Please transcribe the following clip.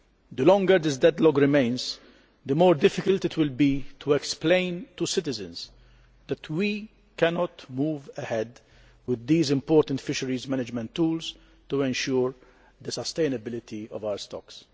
The longer this deadlock remains, the more difficult it will be to explain to citizens that we cannot move ahead with these important fisheries management tools to ensure the sustainability of stocks.